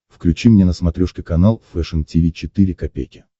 включи мне на смотрешке канал фэшн ти ви четыре ка